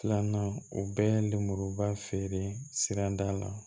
Filanan o bɛɛ ye lemuruba feere sirada la